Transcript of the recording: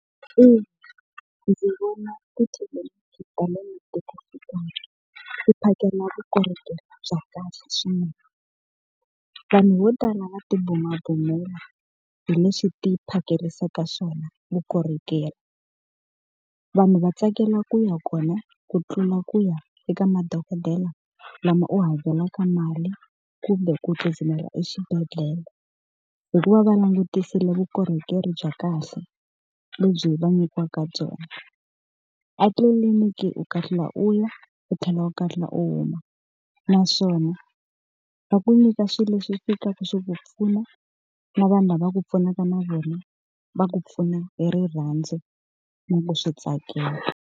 ndzi vona tithelevhixini ta le matikoxikaya ti phakela vukorhokeri bya kahle swinene. Vanhu vo tala va ti bumabumela hileswi ti phakerisaka swona vukorhokeri. Vanhu va tsakela ku ya kona ku tlula ku ya eka madokodela lama u hakelaka mali, kumbe ku tsutsumela exibedhlele hi ku va va langutisile vukorhokeri bya kahle lebyi va nyikiwaka byona. A tliliniki u kahlula u ya, u tlhela u kahlula u huma. Naswona va ku nyika swilo leswi fikaka swi ku pfuna na vanhu lava ku pfunaka na vona va ku pfuna hi rirhandzu na ku swi tsakela.